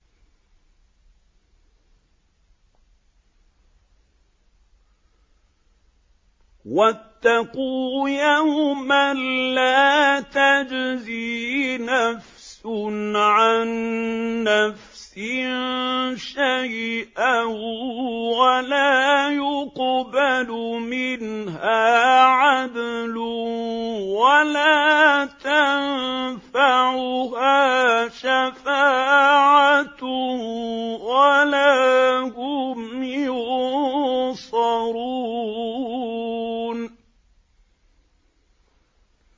وَاتَّقُوا يَوْمًا لَّا تَجْزِي نَفْسٌ عَن نَّفْسٍ شَيْئًا وَلَا يُقْبَلُ مِنْهَا عَدْلٌ وَلَا تَنفَعُهَا شَفَاعَةٌ وَلَا هُمْ يُنصَرُونَ